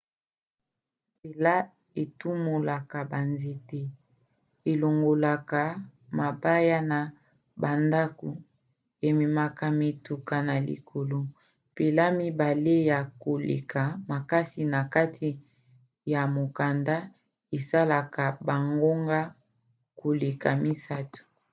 mpela etumolaka banzete elongolaka mabaya na bandako ememaka mituka na likolo. mpela mibale ya koleka makasi na kati ya mokanda esalaka bangonga koleka misato